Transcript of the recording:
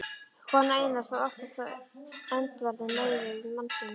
Kona Einars var oftast á öndverðum meiði við mann sinn.